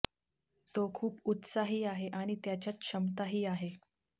तो खूप उत्साही आहे आणि त्याच्यात क्षमताही आहे